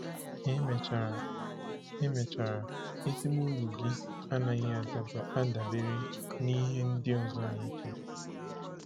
Ka emechara, emechara, ezigbo uru gị anaghị adabere n’ihe ndị ọzọ na-eche.